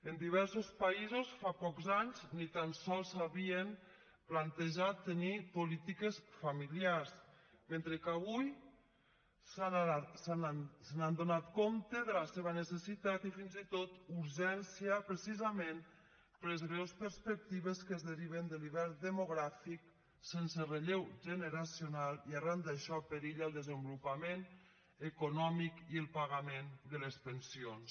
en diversos països fa pocs anys ni tan sols s’havien plantejat tenir polítiques familiars mentre que avui s’han adonat de la seva necessitat i fins i tot urgència precisament per les greus perspectives que es deriven de l’hivern demogràfic sense relleu generacional i arran d’això perilla el desenvolupament econòmic i el pagament de les pensions